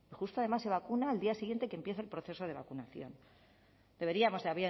justo además se vacuna al día siguiente que empieza el proceso de vacunación deberíamos de